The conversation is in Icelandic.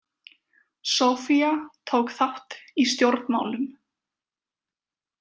Sofia tók þátt í stjórnmálum.